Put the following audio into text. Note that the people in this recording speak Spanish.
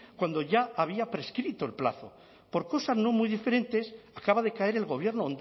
cuando ya había prescrito el plazo por cosas no muy diferentes acaba de caer el gobierno